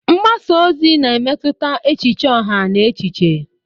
Mgbasa ozi na-emetụta echiche ọha na echiche.